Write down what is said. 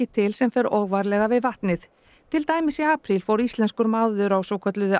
til sem fer óvarlega við vatnið til dæmis í apríl fór íslenskur maður á svokölluðu